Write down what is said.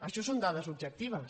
això són da·des objectives